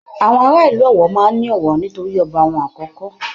Àwọn ará ìlú Ọ̀wọ̀ máa ń ní ọ̀wọ̀ nítorí ọba wọn àkọ́kọ́